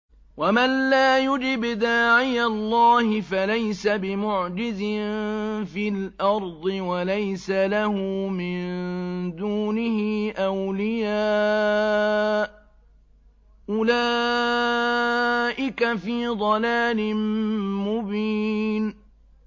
وَمَن لَّا يُجِبْ دَاعِيَ اللَّهِ فَلَيْسَ بِمُعْجِزٍ فِي الْأَرْضِ وَلَيْسَ لَهُ مِن دُونِهِ أَوْلِيَاءُ ۚ أُولَٰئِكَ فِي ضَلَالٍ مُّبِينٍ